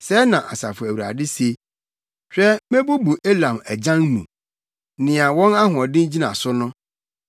Sɛɛ na Asafo Awurade se: “Hwɛ mebubu Elam agyan mu, nea wɔn ahoɔden gyina so no.